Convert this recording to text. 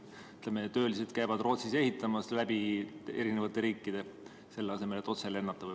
Ütleme, töölised lendavad Rootsi ehitama läbi mitme riigi, selle asemel et otse lennata.